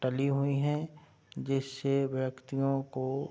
ताली हुई है जिससे व्यक्तियों को --